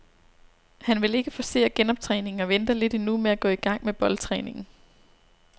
Han vil ikke forcere genoptræningen og venter lidt endnu med at gå i gang med boldtræningen.